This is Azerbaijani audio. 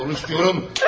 Konuş diyorum!